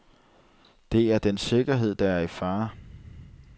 Det er dens sikkerhed, der er i fare.